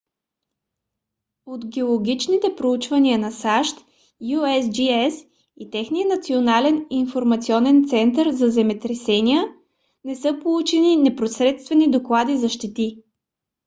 от геологичните проучвания на сащ usgs и техният национален информационен център за земетресения не са получени непосредствени доклади за щети